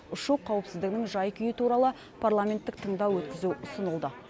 ұшу қауіпсіздігінің жай күйі туралы парламенттік тыңдау өткізу ұсынылды